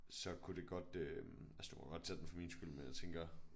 Så kunne det godt øh altså du må godt tage den for min skyld men jeg tænker